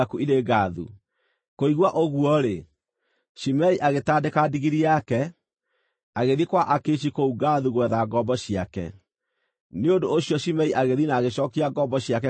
Kũigua ũguo-rĩ, Shimei agĩtandĩka ndigiri yake, agĩthiĩ kwa Akishi kũu Gathu gwetha ngombo ciake. Nĩ ũndũ ũcio Shimei agĩthiĩ na agĩcookia ngombo ciake kuuma Gathu.